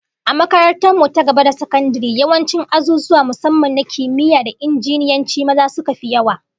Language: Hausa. A makarantar mu ta gaba da sakandare, yawancin azuzuwa musamman na kimiyya da injiniyanci, maza suka fi yawa